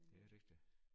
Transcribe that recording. Det rigtigt